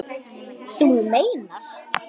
Þú meinar.